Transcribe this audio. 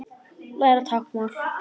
Læra táknmál